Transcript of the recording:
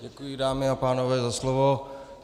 Děkuji, dámy a pánové, za slovo.